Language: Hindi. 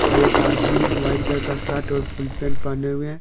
और एक आदमी वाइट कलर का शर्ट और फुल पैंट पहने हुए है।